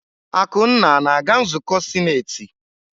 Akunna na-aga nzukọ sinetị?